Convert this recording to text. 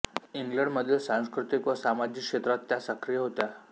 इंग्लंडमधील सांस्कृतिक व सामाजिक क्षेत्रात त्या सक्रिय होत्या